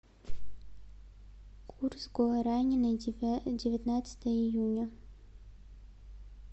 курс гуарани на девятнадцатое июня